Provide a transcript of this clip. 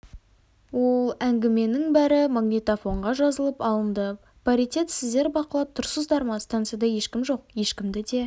ол әңгіменің бәрі магнитофонға жазылып алынды паритет сіздер бақылап тұрсыздар ма станцияда ешкім жоқ ешкімді де